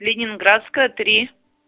ленинградская три